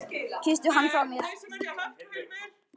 Kysstu hann frá mér.